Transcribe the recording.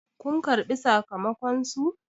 kun karbi sakamakonsu!